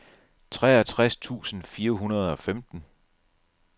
treogtres tusind fire hundrede og femten